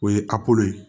O ye ye